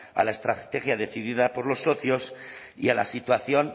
a la estrategia decidida por los socios y a la situación